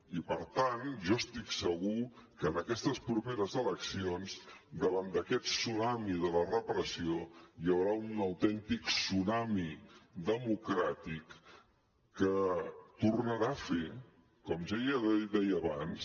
i per tant jo estic segur que en aquestes properes eleccions davant d’aquest tsunami de la repressió hi haurà un autèntic tsunami democràtic que tornarà a fer com deia abans